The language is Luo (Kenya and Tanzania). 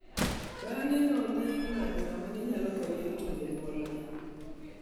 Bang'e ne odhi manyo ng'at ma ne nyalo konye rito jonyuolne.